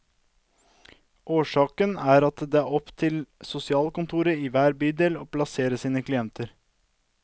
Årsaken er at det er opp til sosialkontorene i hver bydel å plassere sine klienter.